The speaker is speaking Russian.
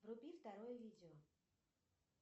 вруби второе видео